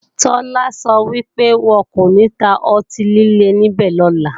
Tọ́lá sọ wípé, wọn kò ní ta ọtí líle níbẹ̀ lọ́la